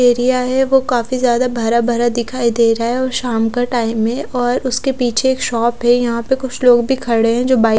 area है वो काफी ज्यादा भरा भरा दिखाई दे रहा है और शाम का टाइम है और उसके पीछे एक शॉप है यहाँ पर कुछ लोग भि खड़े है जो बाइक --